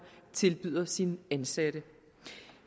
tilbyder sine ansatte